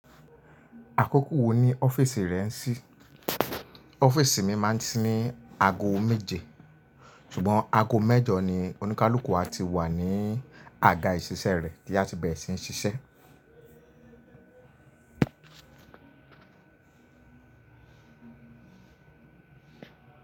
Àkókò wo ni ọ́fíìsì rẹ ń ṣí? Ọ́fíìsì mi máa ń ṣí ní ago méje, ṣùgbọ́n ago mẹ́jọ ni oníkálùkù áti wà ní àga ìṣiṣẹ́ ẹ rẹ̀ tí á ti bẹ̀rẹ̀ sí ní ṣiṣẹ́.